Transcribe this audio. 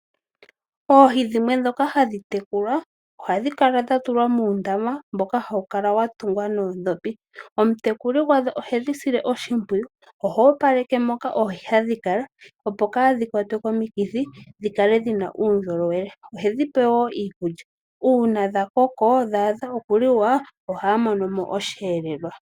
Oohi dhimwe ndhoka hadhi tekulwa ohadhi kala dha tulwa muundama mboka hawu kala wa tungwa noondhopi. Omutekuli gwadho ohedhi sile oshimpwiyu. Oha opaleke moka oohi hadhi kala opo kaadhi kwatwe komikithi dhi kale dhi na uundjolowele. Ohedhi pe woo okulya uuna dha koko dha adha okuliwa ohaya mono mo oshiyelelwa.